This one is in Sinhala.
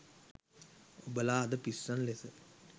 ඔබලා අද පිස්සන් ලෙස